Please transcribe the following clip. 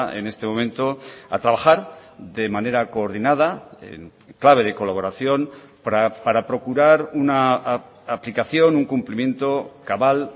en este momento a trabajar de manera coordinada en clave de colaboración para procurar una aplicación un cumplimiento cabal